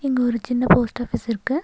இங்க ஒரு சின்ன போஸ்ட் ஆஃபீஸ் இருக்கு.